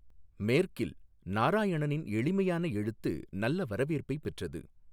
மேற்கில், நாராயணனின் எளிமையான எழுத்து நல்ல வரவேற்பைப் பெற்றது.